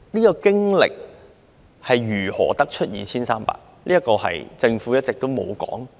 究竟是如何得出 2,300 宗這個數字呢？